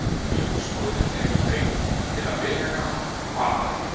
Ljósmóðirin tekur drenginn til að vega hann og baða.